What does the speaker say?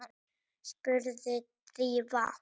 spurði Drífa.